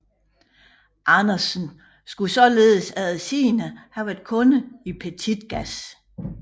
Andersen skulle således eftersigende have været kunde i Petitgas